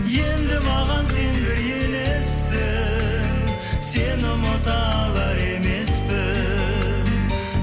енді маған сен бір елессің сені ұмыта алар емеспін